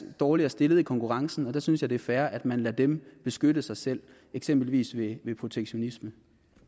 dårligere stillet i konkurrencen og der synes jeg at det er fair at man lader dem beskytte sig selv eksempelvis ved protektionisme